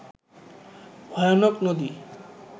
ভয়ানক নদী